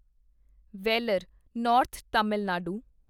Vellore northern Tamil Nadu